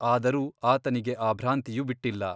ಆದರೂ ಆತನಿಗೆ ಆ ಭ್ರಾಂತಿಯು ಬಿಟ್ಟಿಲ್ಲ.